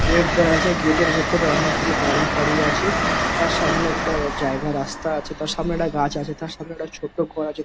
Gate দেখা যায় gate এর ভিতরে অনেকগুলো বাড়ি ফাড়ি আছে। তার সামনে একটা জায়গা রাস্তা আছে তার সামনে গাছ আছে তার সামনে একটা ছোট্ট ঘর আছে।